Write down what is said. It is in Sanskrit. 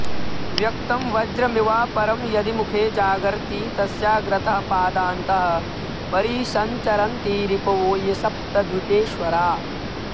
व्यक्तं वज्रमिवापरं यदि मुखे जागर्ति तस्याग्रतः पादान्तः परिसञ्चरन्ति रिपवो ये सप्तद्वीपेश्वरा